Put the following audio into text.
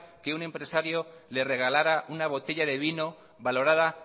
que un empresario le regalara una botella de vino valorada